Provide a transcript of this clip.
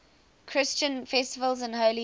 christian festivals and holy days